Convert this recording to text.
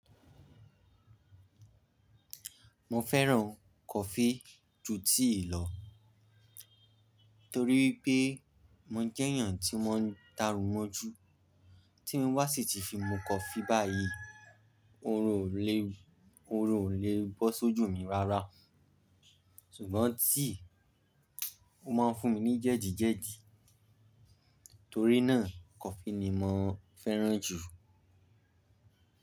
Mo fẹ́ràn coffee ju tea lọ, torí pé mo jẹ́ èèyàn tí o mọ ń darún mọ́ju. Tí n bá sì ti fi mu coffee báyìí, orun ò lè, orun ò lè bọ́ sójú mi rárá. Ṣùgbọ́n tea, ó máa ń fún mi ní jẹ́dìjẹ́dì. Torí náà, kọfí ni mo fẹ́ràn jù.